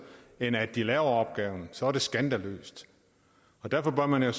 end at de laver opgaven så er det skandaløst derfor bør man jo